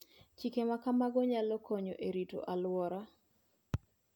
Chike ma kamago nyalo konyo e rito alworawa.